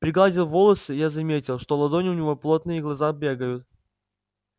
пригладил волосы я заметил что ладони у него плотные и глаза бегают